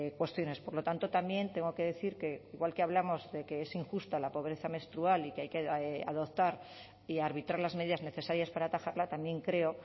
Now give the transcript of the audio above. cuestiones por lo tanto también tengo que decir que igual que hablamos de que es injusta la pobreza menstrual y que hay que adoptar y arbitrar las medidas necesarias para atajarla también creo